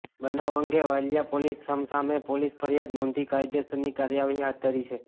બનાવ અંગે વાલિયા પોલીસે સામસામે પોલીસ ફરિયાદ નોંધી કાયદેસરની કાર્યવાહી હાથ ધરી છે